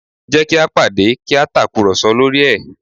Jẹ́ kí a pàdé kí a tàkùrọ̀sọ lórí ẹ̀